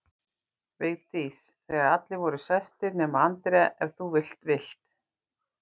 Vigdís þegar allir voru sestir nema Andrea, ef þú endilega vilt